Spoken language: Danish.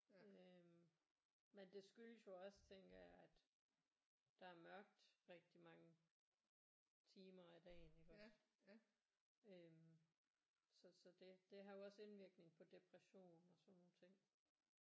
Øh men det skyldes jo også tænker jeg at der er mørkt rigtig mange timer af dagen iggås øh så så det det har jo også indvirkning på depression og sådan nogle ting